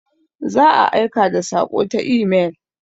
Za a aika da saƙo ta imel.